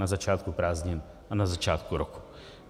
Na začátku prázdnin a na začátku roku.